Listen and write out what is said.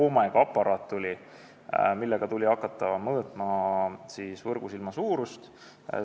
Omega aparaadiga tuli hakata mõõtma võrgusilma suurust.